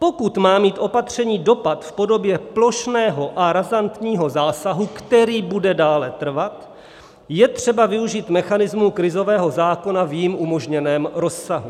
Pokud má mít opatření dopad v podobě plošného a razantního zásahu, který bude dále trvat, je třeba využít mechanismu krizového zákona v jím umožněném rozsahu.